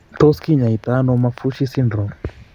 Tos kinyaii to ano Maffucci syndrome ?